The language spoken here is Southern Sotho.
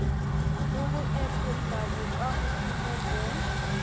le ho epolla bokahodimo bo